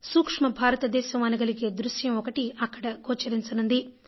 సూక్ష్మ భారతదేశం అనగలిగే దృశ్యం ఒకటి అక్కడ గోచరించనున్నది